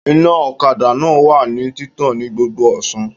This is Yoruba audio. Iná ọ̀kadà náà wà ní títàn ní gbogbo ọ̀sán